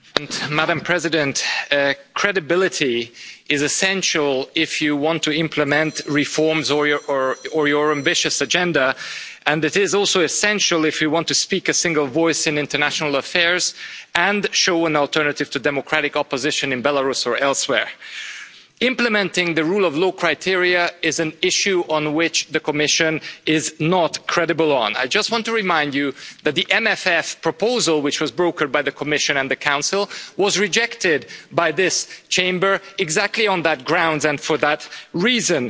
Mr President, I would like to say to Madam President of the Commission that credibility is essential if you want to implement reforms or your ambitious agenda, and it is also essential if you want to speak in a single voice in international affairs and show an alternative to democratic opposition in Belarus or elsewhere. Implementing the rule of law criteria is an issue on which the Commission is not credible. I just want to remind you that the MFF proposal which was brokered by the Commission and the Council was rejected by this Chamber exactly on that ground and for that reason.